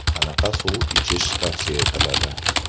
Qanaqa suv ichish tavsiya etiladi?